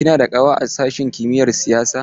Kina da ƙawa a sashin kimiyar siyasa?